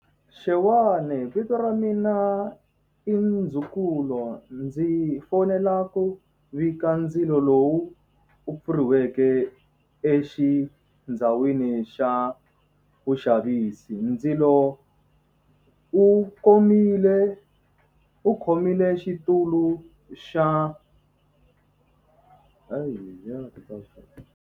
Xewani vito ra mina i Ndzukulo ndzi fonela ku vika ndzilo lowu u pfuriweke exindhawini xa vuxavisi ndzilo u komile u khomile xitulu xa .